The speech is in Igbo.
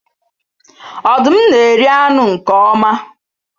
Ọdụm na-eri anụ nke oma.